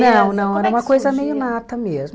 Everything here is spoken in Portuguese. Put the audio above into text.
Não, não, era uma coisa meio nata mesmo.